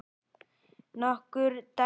Nokkur dæmi